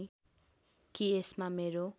कि यसमा मेरो